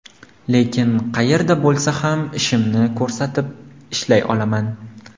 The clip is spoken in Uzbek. Lekin qayerda bo‘lsa ham, ishimni ko‘rsatib, ishlay olaman.